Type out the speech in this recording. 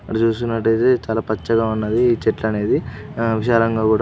అటు చూసినట్టయితే ఇది చాలా పచ్చగా ఉన్నది. ఈ చెట్లు అనేది హ విశాలంగా కూడా--